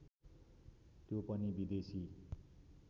त्यो पनि विदेशी